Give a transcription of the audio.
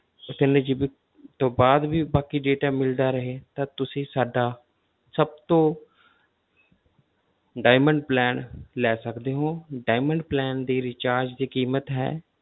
ਤਿੰਨ GB ਤੋਂ ਬਾਅਦ ਵੀ ਬਾਕੀ data ਮਿਲਦਾ ਰਹੇ ਤਾਂ ਤੁਸੀਂ ਸਾਡਾ ਸਭ ਤੋਂ diamond plan ਲੈ ਸਕਦੇ ਹੋ diamond plan ਦੀ recharge ਦੀ ਕੀਮਤ ਹੈ,